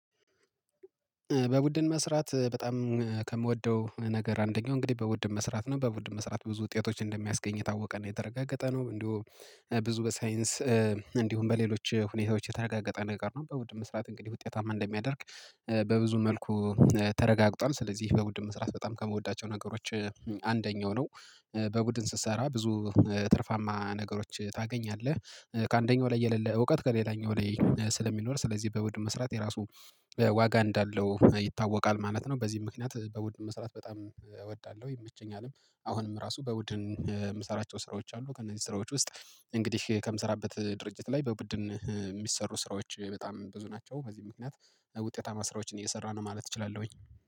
በቡድን መስራት በጣም ከምወደው ነገር አንደኛው እንግዲህ በቡድን መስራት ነው። በቡድን መስራት ብዙ ውጤቶች እንደሚያስገኝ የታወቀና የተረጋገጠ ነው። እንደው ብዙ በሳይንስ እንዲሁም በሌሎች ሁኔታዎች የተረጋገጠ ነገር ነው። በቡድን መስራት እንግዲህ ውጤታማ እንደሚያደርግ በብዙ መልኩ ተረጋግጧል። ስለዚህ በቡድን መስራት በጣም ከምወዳቸው ነገሮች አንደኛው ነው። በቡድን ስትሰራ ብዙ ትርፋማ ነገሮች ታገኛለህ። ከአንደኛው ላይ የሌለ እውቀት ከሌላኛው ላይ ስለሚኖር ስለዚህ በቡድን መስራት የራሱ ዋጋ እንዳለው ይታወቃል ማለት ነው። በዚህ ምክንያት በውድን መስራት በጣም እወዳለሁ። ይመቸኛልም። አሁንም ራሱ በውድን የምሰራቸው ስራዎች አሉ። ከእነዚህ ስራዎች ውስጥ እንግዲህ ከምሰራበት ድርጅት ላይ በቡድን የሚሰሩ ስራዎች በጣም ብዙ ናቸው። በዚህ ምክንያት ውጤታማ ስራዎችን እየሰራን ማለት እችላለሁኝ።